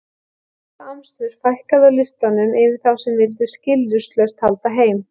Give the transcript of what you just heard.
Við þetta amstur fækkaði á listanum yfir þá sem vildu skilyrðislaust halda heim.